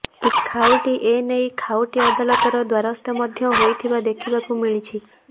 କିଛି ଖାଉଟି ଏନେଇ ଖାଉଟି ଅଦାଲତର ଦ୍ୱାରସ୍ଥ ମଧ୍ୟ ହୋଇଥିବା ଦେଖିବାକୁ ମିଳିଛି